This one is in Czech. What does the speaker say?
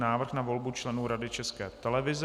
Návrh na volbu členů Rady České televize